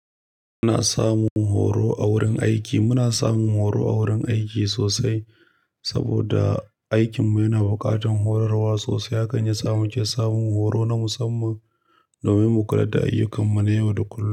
Muna samun horo a wurin aiki. Muna samun horo a wurin aiki sosai saboda aikinmu yana buƙatar horarwa sosai. Hakan ya samu ke samun horo na musamman domin mu kula da ayyukanmu na yau da kullum.